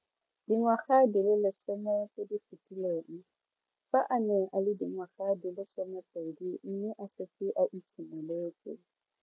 Dingwaga di le 10 tse di fetileng, fa a ne a le dingwaga di le 23 mme a setse a itshimoletse.